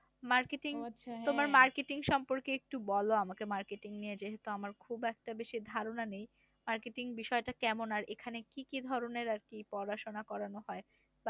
Marketing তোমার marketing সম্পর্কে একটু বল আমাকে। marketing নিয়ে যেহেতু আমার খুব একটা বেশি ধারনা নেই। marketing বিষয় টা কেমন? আর এখানে আর কি কি ধরনের পড়াশোনা করানো হয়? বা